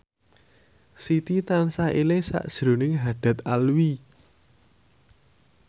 Siti tansah eling sakjroning Haddad Alwi